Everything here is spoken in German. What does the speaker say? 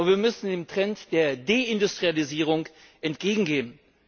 Wir müssen dem Trend der Deindustrialisierung entgegengehen.